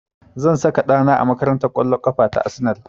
Zan saka ɗa na a makarantar ƙwallon ƙafa ta Arsenal